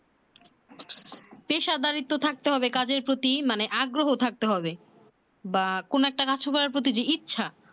পেশাদারিত্ব থাকতে হবে কাজ এর প্রতি মানে আগ্রহ থাকতে হবে বা কোন একটা কাজ করার বা কোন একটা কাজ করার প্রতি যে ইচ্ছা